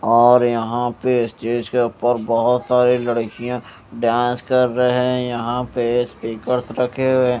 और यहा पे स्टेज पर बोहोत सारी लडकिया डांस कर रहे हे यहा पे स्पीकर्स रखे हुए हे।